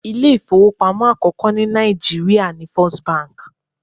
Ilé ifowopamo àkọ́kọ́ ní Naijiria ni First bank.